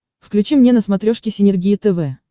включи мне на смотрешке синергия тв